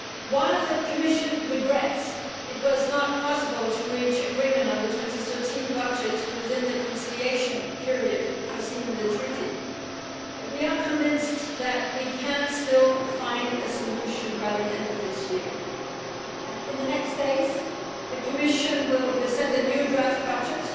While the Commission regrets it was not possible to reach agreement on the 2013 budget within the conciliation period foreseen in the Treaty, we are convinced that we can still find a solution by the end of this year and in the next days the Commission will present a new draft budget,